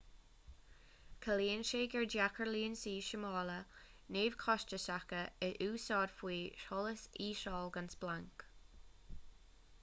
ciallaíonn sé gur deacair lionsaí súmála neamhchostasacha a úsáid faoi sholas íseal gan splanc